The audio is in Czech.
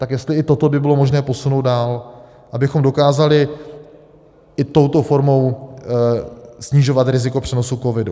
Tak jestli i toto by bylo možné posunout dál, abychom dokázali i touto formou snižovat riziko přenosu covidu.